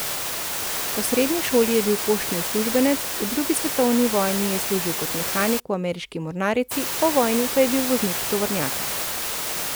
Po srednji šoli je bil poštni uslužbenec, v drugi svetovni vojni je služil kot mehanik v ameriški mornarici, po vojni pa je bil voznik tovornjaka.